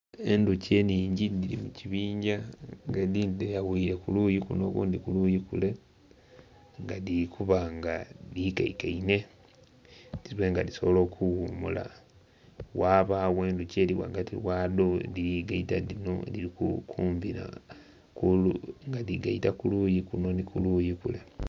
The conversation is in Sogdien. Endhoki enhingi dhiri mu kibingya nga edindhi dhe yawire kuluyi kuno edindhi ku luyi kule nga dhiri kuba nga dhikeikeinhe dhibe nga dhisobola okughumula, ghabagho endhoki eri ghagati ghadho edhiri gaita dhino nga dhiri gaita kuluyi kuno nhi kuluyi kule.